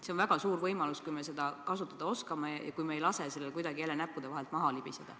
See on väga suur võimalus, kui me seda kasutada oskame ega lase sellel jälle kuidagi näppude vahelt maha libiseda.